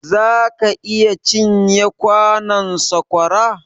zaka iya cin ye kwanon saƙwara?